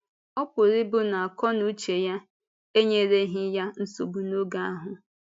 Ọ pụrụ ịbụ na àkó na ùchè ya enyèrèghị ya nsogbu n’oge ahụ.